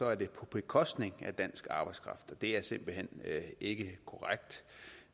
er det på bekostning af dansk arbejdskraft det er simpelt hen ikke korrekt